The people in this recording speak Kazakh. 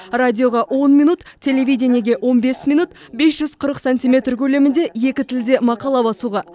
радиоға он минут телевидениеге он бес минут бес жүз қырық сантиметр көлемінде екі тілде мақала басуға